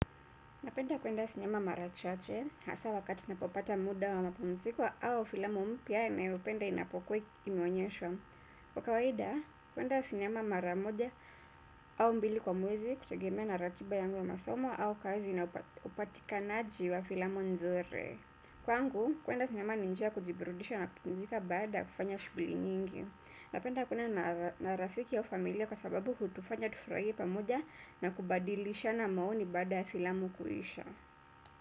Napenda kuenda sinema marachache, hasaa wakati napopata muda wa mapumziko au filamu mpya nayopenda inapokuwa imeonyeshwa. Kwa kawaida, kuenda sinema maramoja au mbili kwa mwezi hutegemea na ratiba yangu ya masomo au kazi naupatikanaji wa filamu nzuri. Kwangu, kuenda sinema ninjia ya kujiburudisha na pumzika baada ya kufanya shughuli nyingi. Napenda kuenda na rafiki ya ufamilia kwa sababu hutufanya tufurahie pamoja na kubadilishana maoni baada filamu kuisha.